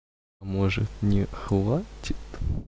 а может не хватит